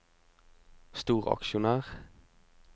storaksjonær